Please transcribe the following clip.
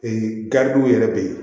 garibu yɛrɛ bɛ ye